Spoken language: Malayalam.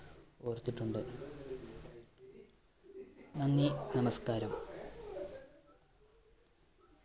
ഓർത്തിട്ടുണ്ട്. നന്ദി, നമസ്‌കാരം.